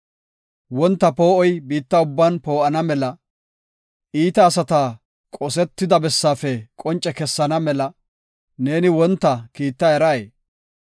Wonta poo7oy biitta ubban poo7ana mela, iita asata qosetida bessaafe qonce kessana mela, neeni wonta kiitta eray?